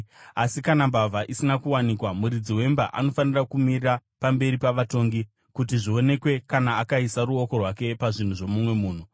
Asi kana mbavha isina kuwanikwa, muridzi wemba anofanira kumira pamberi pavatongi kuti zvionekwe kana akaisa ruoko rwake pazvinhu zvomumwe munhu.